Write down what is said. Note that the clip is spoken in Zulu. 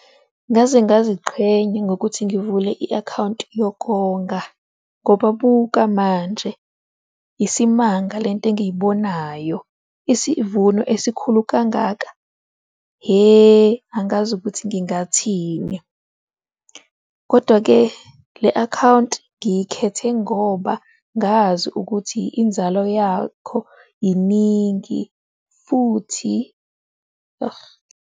Ngaze ngiziqhenya ngokuthi ngivule i-akhawunti yokonga ngoba buka manje isimanga lento engiyibonayo. Isivuno esikhulu kangaka. Hhe, angazi ukuthi ngingathini kodwa ke le-akhawunti ngiyikhethe ngoba ngazi ukuthi inzalo yakho iningi futhi argh.